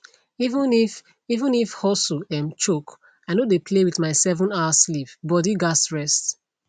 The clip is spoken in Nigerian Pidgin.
even if even if hustle um choke i no dey play with my sevenhour sleep body gats rest